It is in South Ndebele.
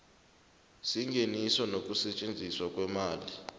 sengeniso nokusetjenziswa kweemali